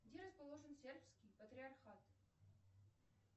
где расположен сербский патриархат